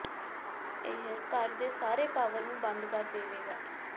ਇਹ ਘਰ ਦੇ ਸਾਰੇ ਪਾਵਰ ਨੂੰ ਬੰਦ ਕਰ ਦੇਵੇਗਾ